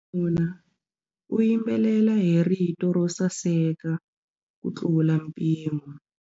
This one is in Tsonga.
Wanuna u yimbelela hi rito ro saseka kutlula mpimo.